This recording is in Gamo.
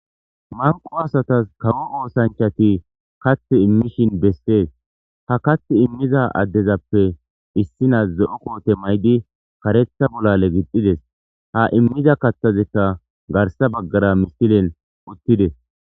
manqo asatas kawo oosanchati kath immishin bessees ha kath immiza addezappe issina ze7o koote maydi karetha bollale gixxides ha immiza kathazekka garsa baggara misilen uttides